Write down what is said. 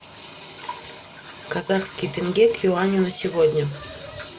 казахский тенге к юаню на сегодня